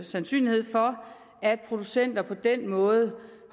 sandsynlighed for at producenter på den måde